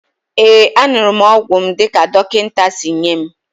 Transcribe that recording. Ee, aṅụrụ m ọgwụ m dị ka dọkịta si nye m